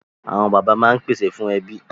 Awọn baba maa n pese fun ẹbi